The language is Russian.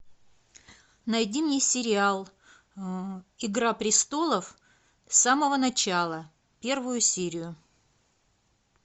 найди мне сериал игра престолов с самого начала первую серию